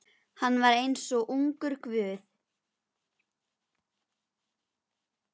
Hann var eins og ungur guð.